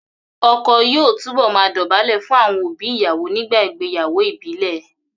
Ọkọ yóò túbọ̀ máa dọ̀bálẹ̀ fún àwọn òbí ìyàwó nígbà ìgbéyàwó ìbílẹ̀